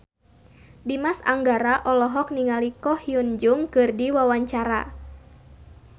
Dimas Anggara olohok ningali Ko Hyun Jung keur diwawancara